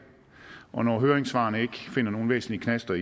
og når høringssvarene ikke finder nogen væsentlige knaster